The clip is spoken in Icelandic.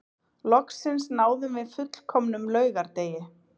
Loksins náðum við fullkomnum laugardegi